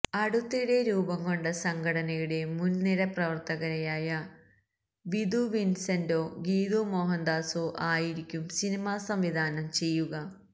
അടുത്തിടെ രൂപം കൊണ്ട സംഘടനയുടെ മുൻ നിര പ്രവർത്തകയായ വിധു വിൻസെന്റോ ഗീതു മോഹൻദാസോ ആയിരിക്കും സിനിമ സംവിധാനം ചെയ്യുക